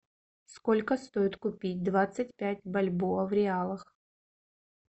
сколько стоит купить двадцать пять бальбоа в реалах